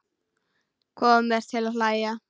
Kom mér til að hlæja.